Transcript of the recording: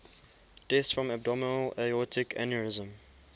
deaths from abdominal aortic aneurysm